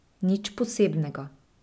Nič posebnega.